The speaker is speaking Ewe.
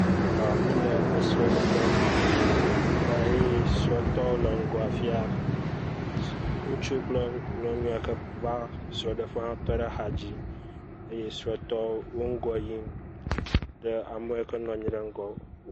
Ha míle esrɔ̃ɖeƒe. Ta ye srɔ̃tɔwo le ŋgɔ afi ya. Ŋutsu kple nyɔnu ya ke va esrɔ̃ɖeƒea tɔ ɖe axadzi dzi eye srɔ̃tɔwo wo ŋgɔ yim ɖe ame yiwo ke nɔ anyi ɖe ŋgɔ…